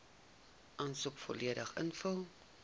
aansoek volledig ingevul